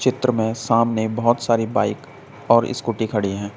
चित्र में सामने बहोत सारी बाइक और स्कूटी खड़ी हैं।